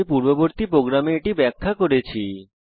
আমি পূর্ববর্তী প্রোগ্রামে এটি ব্যাখ্যা করেছি